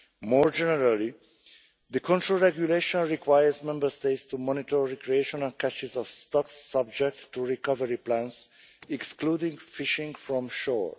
More generally, the control regulation requires Member States to monitor recreational catches of stocks, subject to recovery plans, excluding fishing from shore.